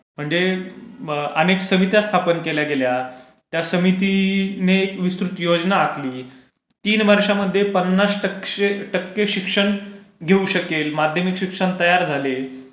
म्हणजे अनेक समित्या स्थापन केल्या गेल्या. त्या समितीने विस्तृत योजना आखली. तीन वर्षामध्ये पन्नास टक्के शिक्षण घेऊ शकेल माध्यमिक शिक्षण तयार झाले.